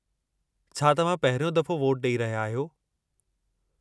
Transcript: छा तव्हां पहिरियों दफ़ो वोटु ॾेई रहिया आहियो?